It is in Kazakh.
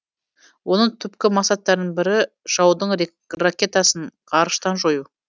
оның түпкі мақсаттарының бірі жаудың ракетасын ғарыштан жою